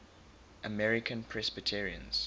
american presbyterians